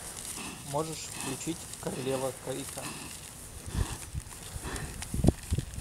можешь включить королева крика